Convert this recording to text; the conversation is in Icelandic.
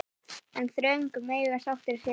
En þröngt mega sáttir sitja.